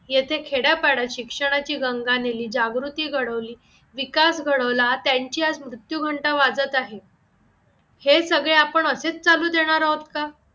येथे खेड्यापाडा शिक्षणाची गंगा नेली जागृती घडवली विकास घडवला त्यांची आज मृत्यू घंटा वाजत आहे, हे सगळे आपण असेच चालू देणार आहोत का?